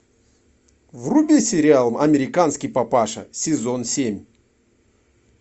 вруби сериал американский папаша сезон семь